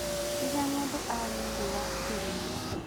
Rĩrĩa mũndũ arĩ thĩĩ wa kĩrĩma